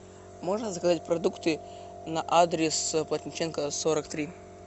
можно заказать продукты на адрес плотниченко сорок три